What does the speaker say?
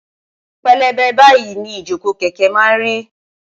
pélébé báyìí ni ìjókòó kẹ̀kẹ́ máa ń rí